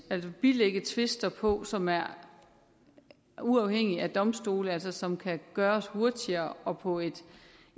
at bilægge tvister på som er uafhængige af domstole og som altså kan gøres hurtigere og på et